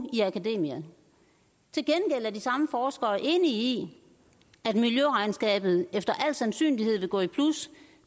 i akademia til gengæld er de samme forskere enige i at miljøregnskabet efter al sandsynlighed vil gå i plus